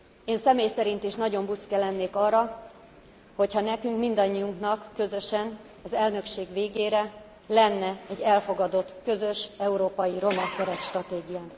Én személy szerint is nagyon büszke lennék arra, hogyha nekünk mindannyiunknak közösen, az elnökség végére lenne egy elfogadott közös európai roma keretstratégiánk.